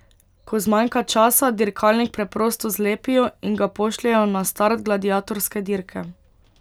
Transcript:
Ko zmanjka časa, dirkalnik preprosto zlepijo in ga pošljejo na start gladiatorske dirke.